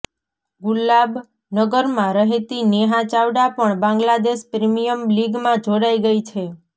ગુલાબનગરમાં રહેતી નેહા ચાવડા પણ બાંગ્લાદેશ પ્રીમિયર લીગમાં જોડાઈ ગઈ છે